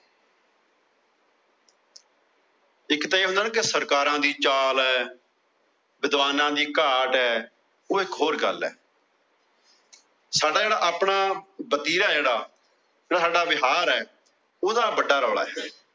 ਇੱਕ ਤਾਂ ਇਹ ਹੁੰਦਾ ਨਾ ਸਰਕਾਰਾਂ ਦੀ ਚਾਲ ਏ। ਵਿਧਵਾਨਾ ਦੀ ਘਾਟ ਉਹ ਇੱਕ ਹੋਰ ਗੱਲ ਏ। ਸਾਡਾ ਜਿਹੜਾ ਆਪਣਾ ਵਤੀਰਾ ਜਿਹੜਾ। ਜਿਹੜਾ ਸਾਡਾ ਵਿਹਾਰ ਏ ਉਹੰਦਾ ਵੱਡਾ ਰੌਲਾ।